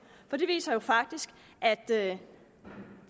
for det viser jo faktisk at det